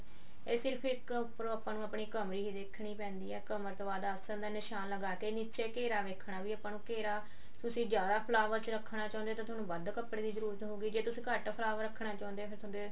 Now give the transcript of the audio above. ਇਹ ਸਿਰਫ ਇੱਕ ਉੱਪਰੋਂ ਆਪਾਂ ਨੂੰ ਆਪਣੀ ਕਮਰ ਹੀ ਦੇਖਣੀ ਪੈਂਦੀ ਹੈ ਕਮਰ ਤੋਂ ਬਾਅਦ ਆਸਣ ਦਾ ਨਿਸ਼ਾਨ ਲਗਾ ਕੇ ਨੀਚੇ ਘੇਰਾ ਵੇਖਣਾ ਵੀ ਆਪਾਂ ਨੂੰ ਘੇਰਾ ਤੁਸੀਂ ਜਿਆਦਾ ਫਲਾਵਟ ਚ ਰੱਖਣਾ ਚਾਹੁੰਦੇ ਹੋ ਤਾਂ ਤੁਹਾਨੂੰ ਵੱਢ ਕੱਪੜੇ ਦੀ ਜਰੂਰਤ ਹੋਊਗੀ ਜੇ ਤੁਸੀਂ ਘੱਟ ਫਲਾਵਟ ਰੱਖਣਾ ਚਾਹੁੰਦੇ ਹੋ ਫੇਰ ਤੁਹਾਡੇ